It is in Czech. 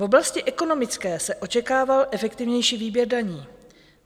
V oblasti ekonomické se očekával efektivnější výběr daní.